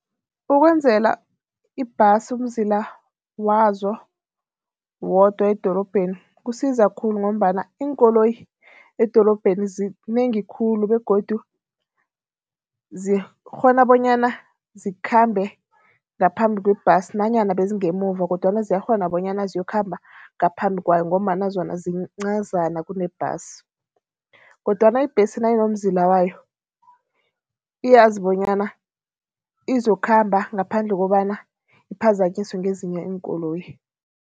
Ikwenzela ibhasi umzila wazo wodwa edorobheni kusiza khulu ngombana iinkoloyi edorobheni zinengi khulu begodu zikghona bonyana zikhambe ngaphambi kwebhasi nanyana bezingemuva kodwana ziyakghona bonyana ziyokhamba ngaphambi kwayo ngombana zona zincazana kunebhasi kodwana ibhesi nayinomzila wayo, iyazi bonyana izokhamba ngaphandle kobana iphazanyiswe ngezinye iinkoloyi.